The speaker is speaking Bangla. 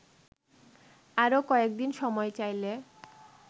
আরো কয়েকদিন সময় চাইলে